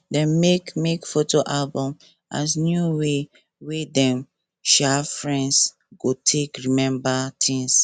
dem make make photo album as new way wey dem um friends go take remember things